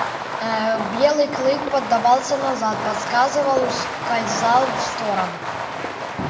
белый клык подавался назад подсказывал ускользал в сторону